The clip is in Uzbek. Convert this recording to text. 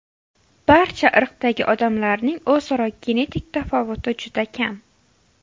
Barcha irqdagi odamlarning o‘zaro genetik tafovuti juda kam.